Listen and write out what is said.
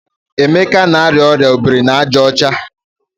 Emeka na-arịa ọrịa obiri n'aja ọcha.